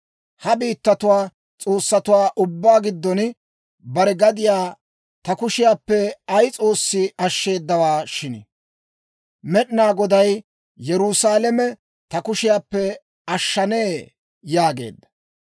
Ha biittatuwaa s'oossatuwaa ubbaa giddon bare gadiyaa ta kushiyaappe ay s'oossi ashsheedawaa shin, Med'inaa Goday Yerusaalame ta kushiyaappe ashshanee?» yaageedda.